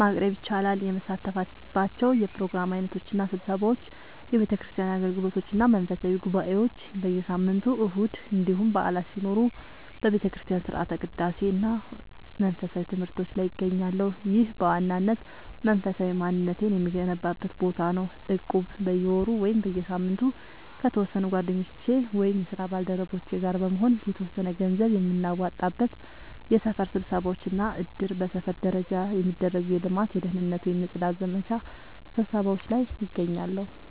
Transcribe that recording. ማቅረብ ይቻላል፦ የምሳተፍባቸው የፕሮግራም ዓይነቶች እና ስብሰባዎች፦ የቤተክርስቲያን አገልግሎቶች እና መንፈሳዊ ጉባኤዎች፦ በየሳምንቱ እሁድ እንዲሁም በዓላት ሲኖሩ በቤተክርስቲያን ሥርዓተ ቅዳሴ እና መንፈሳዊ ትምህርቶች ላይ እገኛለሁ። ይህ በዋናነት መንፈሳዊ ማንነቴን የምገነባበት ቦታ ነው። እቁብ፦ በየወሩ ወይም በየሳምንቱ ከተወሰኑ ጓደኞቼ ወይም የስራ ባልደረቦቼ ጋር በመሆን የተወሰነ ገንዘብ የምናዋጣበት። የሰፈር ስብሰባዎች እና እድር፦ በሰፈር ደረጃ የሚደረጉ የልማት፣ የደህንነት ወይም የጽዳት ዘመቻ ስብሰባዎች ላይ እገኛለሁ።